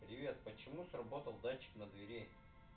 привет почему сработал датчик на двери